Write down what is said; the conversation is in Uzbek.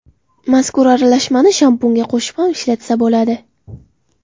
Mazkur aralashmani shampunga qo‘shib ham ishlatsa bo‘ladi.